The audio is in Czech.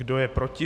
Kdo je proti?